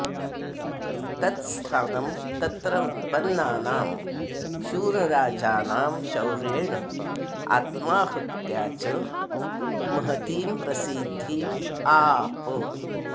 तत् स्थानं तत्र उत्पन्नानां शूरराजानां शौर्येण आत्माहुत्या च महतीं प्रसिद्धिम् आप